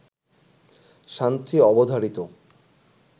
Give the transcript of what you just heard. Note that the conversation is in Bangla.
শান্তি অবধারিত